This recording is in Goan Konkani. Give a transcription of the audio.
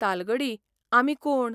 तालगडी आमी कोण?